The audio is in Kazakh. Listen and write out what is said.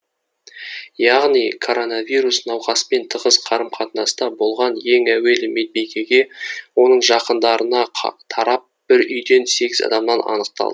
яғни коронавирус науқаспен тығыз қарым қатынаста болған ең әуелі медбикеге оның жақындарына тарап бір үйден сегіз адамнан анықталды